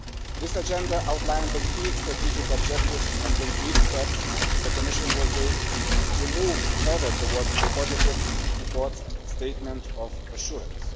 This agenda outlined the key strategic objectives and concrete steps which the Commission will take to move further towards a positive Court statement of assurance.